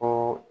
O